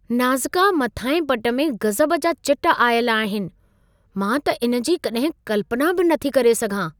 Nazca मथाहें पट में गज़ब जा चिट आयल आहिनि! मां त इन जी कॾहिं कल्पना बि न थी करे सघां।